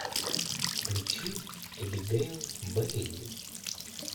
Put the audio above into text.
включи эбигейл бэйли